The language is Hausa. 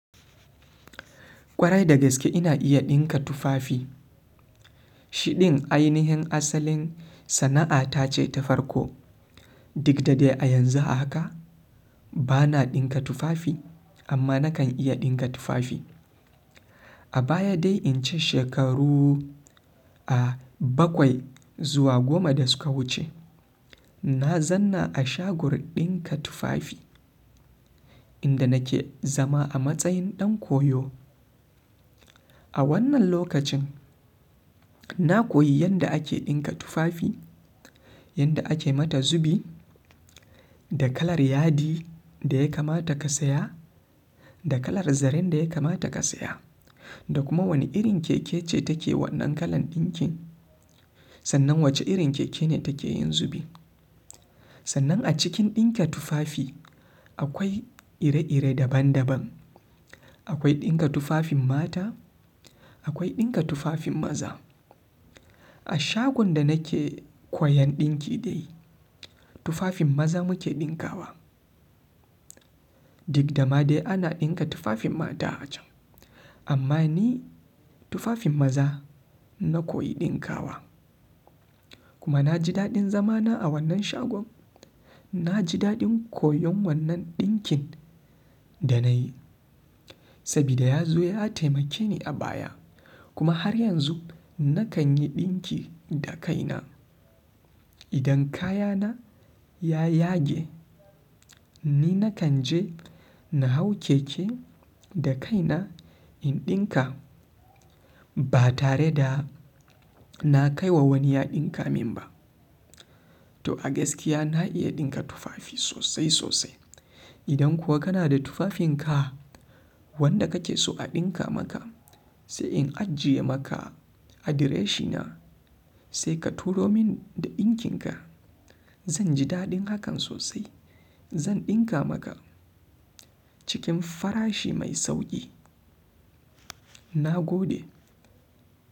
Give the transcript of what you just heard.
Kwarai, da gaske ina iya ɗinka tufafi. Shi ɗin ainihin asalin sana'a ta ce ta farko. Duk da dai a yanzu a haka bana ɗinka tufafi amma nakan iya ɗinka tufafi. A baya dai in ci shekaru, ah, bakwai zuwa goma da suka wuce, na zauna a shagon ɗinka tufafi inda nake zama a matsayin ɗan koyo. A wannan lokacin, na koyi yadda ake ɗinka tufafi, yadda ake mata zubi da kalar yadi da ya kamata ka saya, da kalar zaren da ya kamata ka saya, da kuma wane irin keke ce take wannan kalan ɗinkin sannan wace irin keke ne take yin zubi. Sannan a cikin ɗinka tufafi akwai ire-ire daban daban. Akwai ɗinka tufafin mata, akwai ɗinka tufafin maza. A shagon da nake koyan dinki dai, tufafin maza mu ke dinkawa. Duk da ma dai ana ɗinka tufafin mata a can amma ni tufafin maza na koyi ɗinkawa. Kuma na ji daɗin zamana a wannan shagon. Na ji daɗin koyon wannan ɗinkin da nayi sabida ya zo ya taimake ni a baya. Kuma har yanzu nakan yi ɗinki da kaina. Idan kayana ya yage, ni nakan je na hau keke da kaina in ɗinka ba tare da na kai wa wani ya ɗinka min ba. To a gaskiya na iya ɗinka tufafi sosai sosai. Idan kuwa kana da tufafinka wanda kake so a ɗinka maka sai in ajiye maka adireshina sai ka turo min da ɗinkinka. Zan ji daɗin hakan sosai. Zan ɗinka maka cikin farashi mai sauƙi. Na gode.